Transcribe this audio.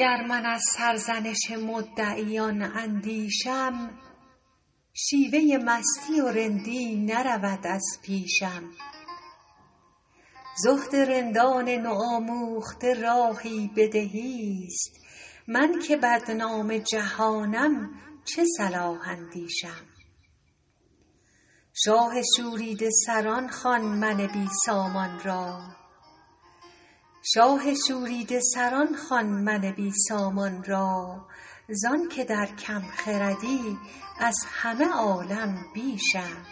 گر من از سرزنش مدعیان اندیشم شیوه مستی و رندی نرود از پیشم زهد رندان نوآموخته راهی به دهیست من که بدنام جهانم چه صلاح اندیشم شاه شوریده سران خوان من بی سامان را زان که در کم خردی از همه عالم بیشم